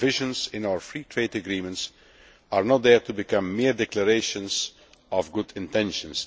The provisions in our free trade agreements are not there to become mere declarations of good intentions.